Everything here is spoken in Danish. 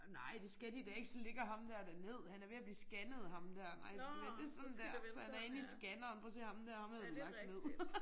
Nej det skal de da ikke så ligger ham dér da ned han er ved at blive scannet ham dér. Nej du skal vende det sådan der så han inde i scanneren prøv at se ham dér ham havde du lagt ned